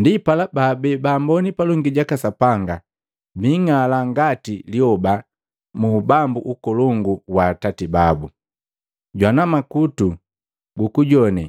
Ndipala babii baamboni palongi jaka Sapanga biing'ala ngati lyoba mu ubambu ukolongu wa Atati babu. Jwana makutu gukujoane